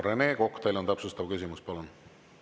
Rene Kokk, teil on täpsustav küsimus, palun!